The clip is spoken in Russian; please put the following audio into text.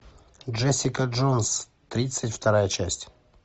джессика джонс тридцать вторая часть